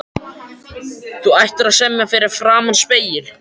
Þú ættir að semja fyrir framan spegil.